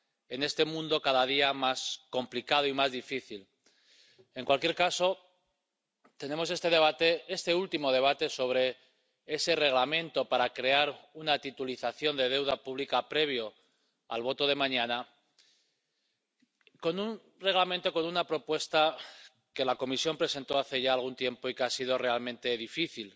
en este mundo cada día más complicado y más difícil. En cualquier caso, tenemos este debate, este último debate sobre el Reglamento para crear una titulización de deuda pública previo a la votación de mañana, sobre una propuesta de Reglamento que la Comisión presentó hace ya algún tiempo y que ha sido realmente difícil.